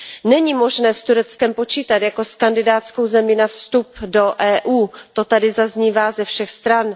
Není možné s Tureckem počítat jako s kandidátskou zemí na vstup do EU, to tady zaznívá ze všech stran.